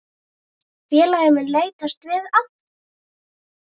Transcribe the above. Félagið mun leitast við að